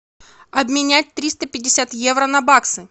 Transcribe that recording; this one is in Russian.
обменять триста пятьдесят евро на баксы